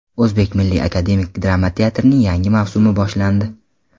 O‘zbek Milliy akademik drama teatrining yangi mavsumi boshlandi.